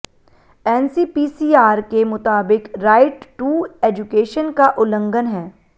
NCPCR के मुताबिक right to education का उल्लंघन है